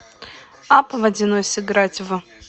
апп водяной сыграть в